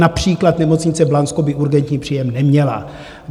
Například nemocnice Blansko by urgentní příjem neměla.